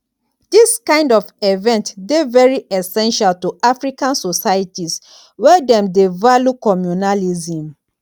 this kind of event dey very essential to african societies where dem dey value communalism